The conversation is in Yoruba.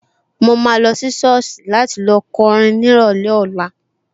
Mo máa lọ sí sọ́ọ̀sì láti lọ kọrin ní ìrọ̀lẹ́ ọ̀la